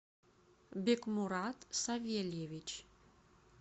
бикмурат савельевич